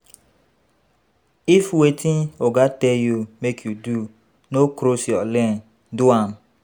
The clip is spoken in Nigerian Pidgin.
If wetin oga tell you make you do no cross your lane, do am